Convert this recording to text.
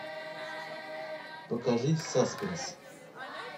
покажи саспенс